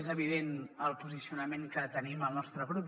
és evident el posicionament que hi tenim el nostre grup